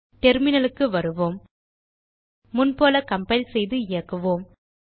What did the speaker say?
terminal க்கு வருவோம் முன்போல கம்பைல் செய்து இயக்குவோம்